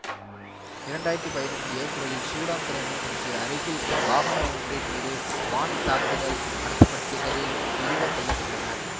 இரண்டு ஆயிரத்தி பதினொன்னு ஏப்ரலில் சூடான் துறைமுகத்திற்கு அருகில் வாகனம் ஒன்றின் மீது வான் தாக்குதல் நடத்தப்பட்டதில் இருவர் கொல்ல பட்டனர்